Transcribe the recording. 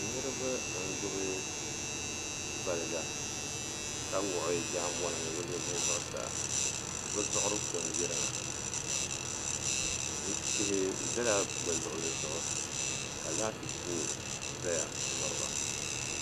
Niriba n gbibi valga ka wuɣi bɛ jaanbona ni bɛ lebihi zuɣusaa bɛ zuɣuri ko n yirina ti zala bɛ luɣuli zuɣu ka laati zaya m miriba.